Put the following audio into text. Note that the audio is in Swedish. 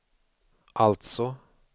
alltså